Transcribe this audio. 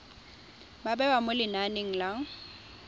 ba bewa mo lenaneng la